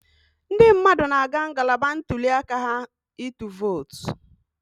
Ndị mmadụ na-aga ngalaba ntuli aka ha ịtụ vootu